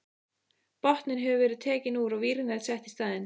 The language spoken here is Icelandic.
Botninn hefur verið tekinn úr og vírnet sett í staðinn.